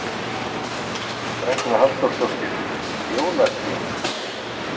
Ragna Halldórsdóttir: Jólatrén?